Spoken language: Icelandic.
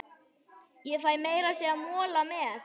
Ég fæ meira að segja mola með.